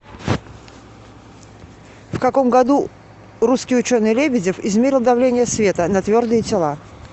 в каком году русский ученый лебедев измерил давление света на твердые тела